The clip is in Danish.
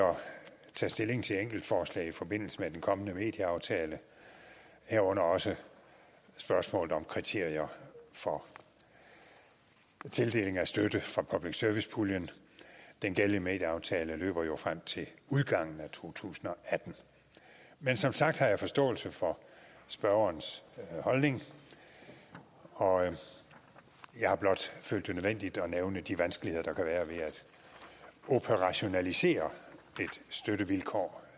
tage stilling til enkeltforslag i forbindelse med den kommende medieaftale herunder også spørgsmålet om kriterier for tildeling af støtte fra public service puljen den gældende medieaftale løber jo frem til udgangen af to tusind og atten men som sagt har jeg forståelse for spørgerens holdning og jeg har blot følt det nødvendigt at nævne de vanskeligheder der kan være ved at operationalisere et støttevilkår